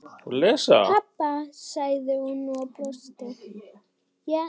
Pabba? sagði hún og brosti.